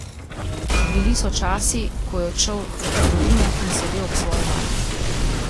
Bili so časi, ko je odšel do trgovine in sedel ob svoji mami.